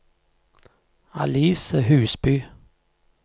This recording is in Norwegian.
Alice Husby